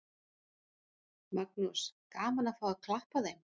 Magnús: Gaman að fá að klappa þeim?